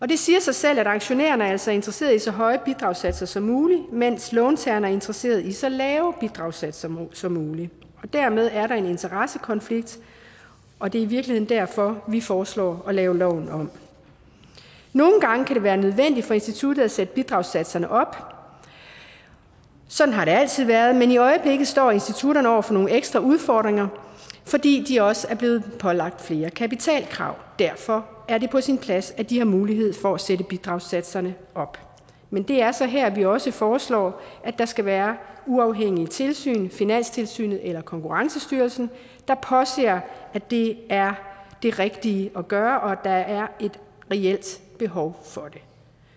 det siger sig selv at aktionærerne altså er interesseret i så høje bidragssatser som muligt mens låntagerne er interesseret i så lave bidragssatser som muligt dermed er der en interessekonflikt og det er i virkeligheden derfor vi foreslår at lave loven om nogle gange kan det være nødvendigt for instituttet at sætte bidragssatserne op sådan har det altid været men i øjeblikket står institutterne over for nogle ekstra udfordringer fordi de også er blevet pålagt flere kapitalkrav derfor er det på sin plads at de har mulighed for at sætte bidragssatserne op men det er så her vi også foreslår der skal være uafhængigt tilsyn finanstilsynet eller konkurrencestyrelsen der påser at det er det rigtige at gøre og at der er et reelt behov for det